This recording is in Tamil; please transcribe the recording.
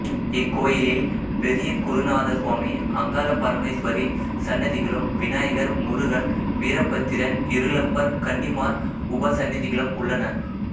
இக்கோயிலில் பெரியகுருநாதசாமி அங்காள பரமேஸ்வரி சன்னதிகளும் விநாயகர் முருகன் வீரபத்திரன் இருளப்பர் கன்னிமார் உபசன்னதிகளும் உள்ளன